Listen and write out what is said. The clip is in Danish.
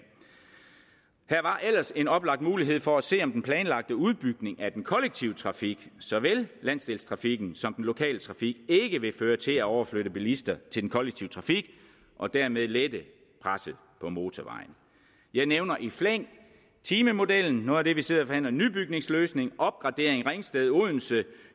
her var ellers en oplagt mulighed for at se om den planlagte udbygning af den kollektive trafik såvel landsdelstrafikken som den lokale trafik ikke vil føre til at overflytte bilister til den kollektive trafik og dermed lette presset på motorvejen jeg nævner i flæng timemodellen noget af det vi sidder og forhandler nybygningsløsning opgradering ringsted odense